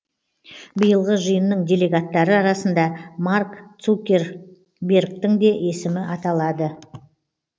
биылғы жиынның делегаттары арасында марк цукербергтің де есімі аталады